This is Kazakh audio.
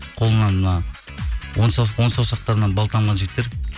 қолынан мына он саусақтарынан бал тамған жігіттер